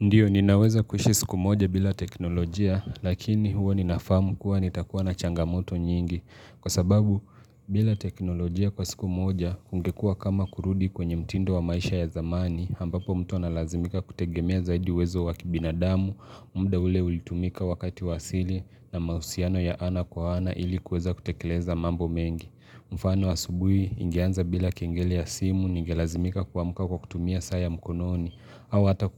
Ndiyo, ninaweza kuishi siku moja bila teknolojia, lakini huwa ninafahamu kuwa nitakuwa na changamoto nyingi. Kwa sababu, bila teknolojia kwa siku moja, ungekua kama kurudi kwenye mtindo wa maisha ya zamani, ambapo mtu analazimika kutegemea zaidi uwezo wa kibinadamu, muda ule ulitumika wakati wa asili na mausiano ya ana kwa ana ilikuweza kutekeleza mambo mengi. Mfano asubuhi ingeanza bila kengele ya simu, ningelazimika kuamuka kwa kutumia saa ya mkunoni, au hata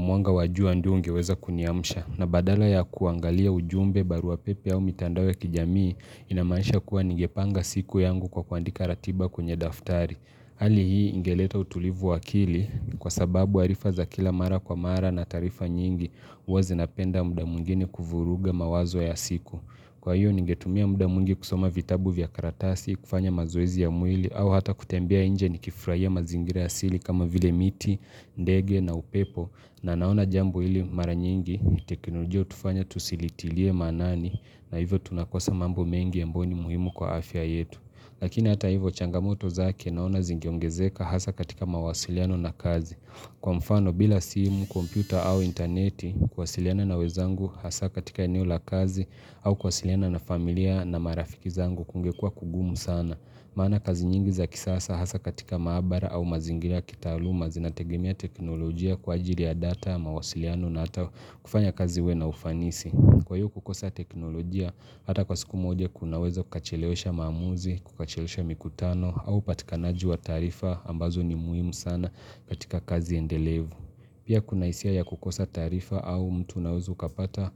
mwanga wa jua ndio ungeweza kuniamsha na badala ya kuangalia ujumbe barua pepe au mitandao kijamii inamanisha kuwa ningepanga siku yangu kwa kuandika ratiba kwenye daftari. Hali hii ingeleta utulivu wa akili kwa sababu arifa za kila mara kwa mara na taarifa nyingi uwa zinapenda muda mwingine kuvuruga mawazo ya siku. Kwa hiyo ningetumia muda mwingi kusoma vitabu vya karatasi kufanya mazoezi ya mwili au hata kutembea nje nikifrahia mazingira asili kama vile miti, ndege na upepo na naona jambo hili mara nyingi teknolojia hutufanya tusilitilie maanani na hivyo tunakosa mambo mengi ambayo ni muhimu kwa afya yetu. Lakini hata hivyo changamoto zake naona zingeongezeka hasa katika mawasiliano na kazi. Kwa mfano bila simu, kompyuta au interneti kuwasiliana na wezangu hasa katika eneo la kazi au kuwasiliana na familia na marafiki zangu kungekua kugumu sana. Maana kazi nyingi za kisasa hasa katika maabara au mazingira ya kitaaluma zinategemea teknolojia kwa ajili ya data, mawasiliano na hata kufanya kazi iwe na ufanisi. Kwa hiyo kukosa teknolojia, hata kwa siku moja kunaweza kukachilewesha maamuzi, kukachelewesha mikutano au upatikanaji wa tarifa ambazo ni muhimu sana katika kazi endelevu. Pia kuna isia ya kukosa taarifa au mtu unaweza ukapata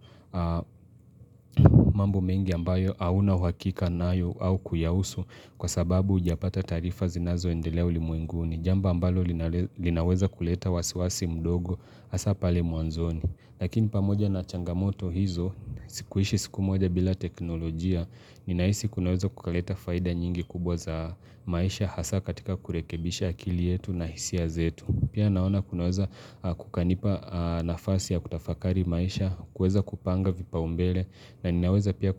mambo mengi ambayo auna uhakika nayo au kuyausu kwa sababu ujapata taarifa zinazo endelea ulimwenguni. Jambo ambalo linale linaweza kuleta wasiwasi mdogo hasa pale mwanzoni. Lakini pamoja na changamoto hizo, sikuishi siku moja bila teknolojia, ninaisi kunaweza kukaleta faida nyingi kubwa za maisha hasa katika kurekebisha akili yetu na hisia zetu. Pia naona kunaweza kukanipa nafasi ya kutafakari maisha, kueza kupanga vipao mbele na ninaweza pia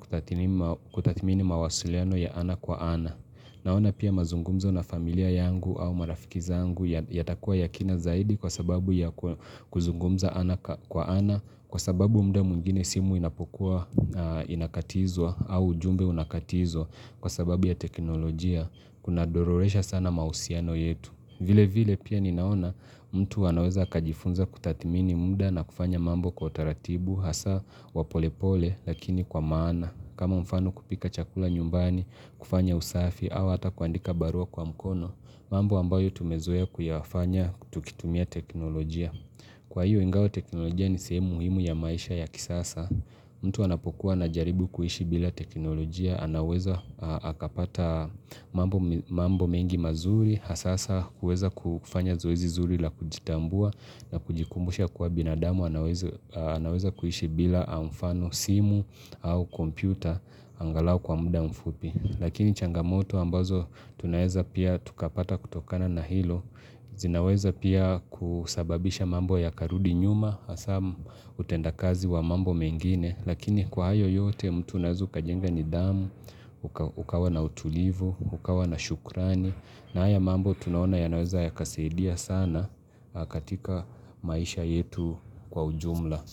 kutathmini mawasuliano ya ana kwa ana. Naona pia mazungumzo na familia yangu au marafiki zangu yatakua ya kina zaidi kwa sababu ya kuzungumza ana ka kwa ana Kwa sababu muda mwingine simu inapokuwa inakatizwa au ujumbe unakatizwa kwa sababu ya teknolojia kuna dororesha sana mahusiano yetu vile vile pia ni naona mtu anaweza akajifunza kutathmini muda na kufanya mambo kwa utaratibu hasa wa polepole lakini kwa maana kama mfano kupika chakula nyumbani, kufanya usafi, au ata kuandika barua kwa mkono mambo ambayo tumezoea kuyafanya, tukitumia teknolojia Kwa hiyo ingawa teknolojia ni seemu muhimu ya maisha ya kisasa mtu anapokuwa anajaribu kuhishi bila teknolojia anaweza akapata mambo mambo mengi mazuri Hasasa huweza kufanya zoezi zuri la kujitambua na kujikumbusha kuwa binadamu anaweza anaweza kuishi bila mfano simu au kompyuta angalau kwa muda mfupi. Lakini changamoto ambazo tunaweza pia tukapata kutokana na hilo zinaweza pia kusababisha mambo yakarudi nyuma hasa utendakazi wa mambo mengine lakini kwa ayo yote mtu unaweza ukajenga nidhamu ukawa na utulivu, ukawa na shukrani na haya mambo tunaona yanaweza yakasidia sana katika maisha yetu kwa ujumla.